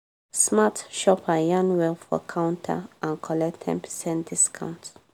smart shopper yarn well for counter and collect ten percent discount.